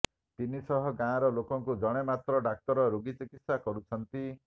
ତିନିସହ ଗାଁର ଲୋକଙ୍କୁ ଜଣେ ମାତ୍ର ଡାକ୍ତର ରୋଗୀ ଚିକିତ୍ସା କରୁଛନ୍ତି